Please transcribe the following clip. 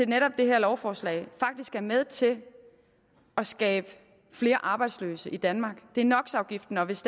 netop det her lovforslag faktisk er med til at skabe flere arbejdsløse i danmark det er nox afgiften og hvis